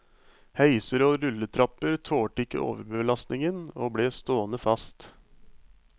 Heiser og rulletrapper tålte ikke overbelastningen og ble stående fast.